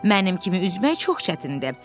Mənim kimi üzmək çox çətindir.